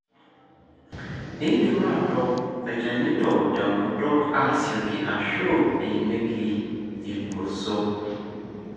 indim atooko ilchanito tenkutuk, asioki ashu emieki ingonyo,